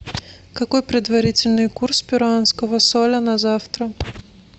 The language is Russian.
какой предварительный курс перуанского соля на завтра